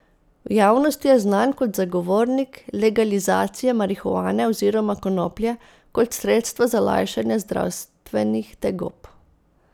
V javnosti je znan kot zagovornik legalizacije marihuane oziroma konoplje kot sredstva za lajšanje zdravstvenih tegob.